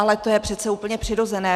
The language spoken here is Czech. Ale to je přece úplně přirozené.